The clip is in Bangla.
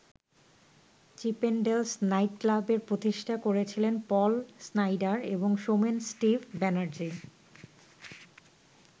চিপেনডেলস নাইটক্লাবের প্রতিষ্ঠা করেছিলেন পল স্নাইডার এবং সোমেন ‘স্টিভ’ ব্যানার্জি।